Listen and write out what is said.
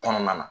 Kɔnɔna na